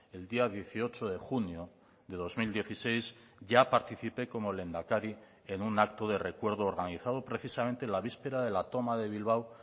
el día dieciocho de junio de dos mil dieciséis ya participé como lehendakari en un acto de recuerdo organizado precisamente la víspera de la toma de bilbao